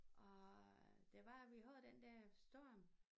Og det var vi havde den der storm